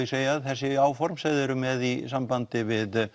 segja að þessi áform sem þau eru með í sambandi við